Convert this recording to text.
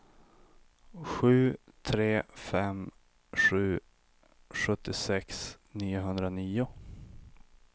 sju tre fem sju sjuttiosex niohundranio